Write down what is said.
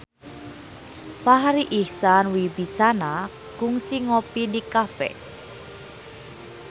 Farri Icksan Wibisana kungsi ngopi di cafe